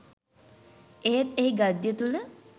එහෙත් එහි ගද්‍ය තුළ